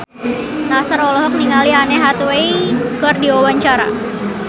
Nassar olohok ningali Anne Hathaway keur diwawancara